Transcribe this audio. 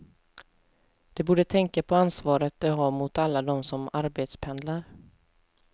De borde tänka på ansvaret de har mot alla dem som arbetspendlar.